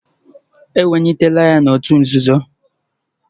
Ewelitela ya n'òtù nzuzo